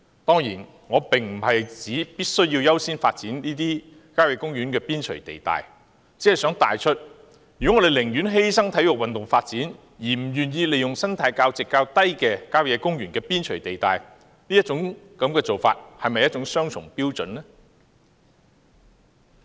當然，我並不是指必須優先發展這些郊野公園的邊陲地帶，只是想帶出，如果我們寧願犧牲體育運動發展，而不願意利用生態價值較低的郊野公園邊陲地帶建屋，是否雙重標準呢？